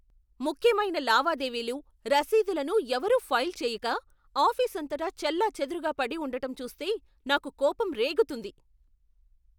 ముఖ్యమైన లావాదేవీలు, రసీదులను ఎవరూ ఫైల్ చెయ్యక, ఆఫీసు అంతటా చెల్లాచెదురుగా పడి ఉండటం చూస్తే నాకు కోపం రేగుతుంది.